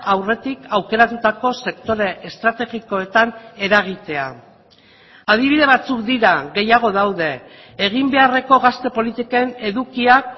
aurretik aukeratutako sektore estrategikoetan eragitea adibide batzuk dira gehiago daude egin beharreko gazte politiken edukiak